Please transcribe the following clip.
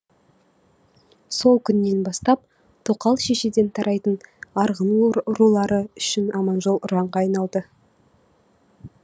сол күннен бастап тоқал шешеден тарайтын арғын рулары үшін аманжол ұранға айналды